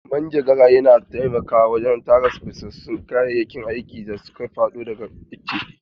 Manjagara yana taimakawa wajen tara busassun ganyayyaki da suka faɗo daga ice.